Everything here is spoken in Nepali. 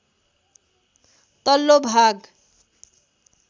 तल्लो भाग